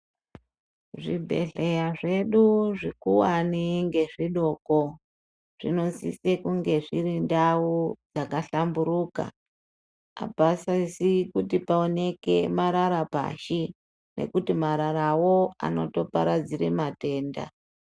Zvibhedhleya zvedu zvikuwani ngezvidoko zvinosise kunge zviri ndau yakahlamburuka apasisi kuti paoneke marara pashi nekuti mararawo anotoparadzire matenda.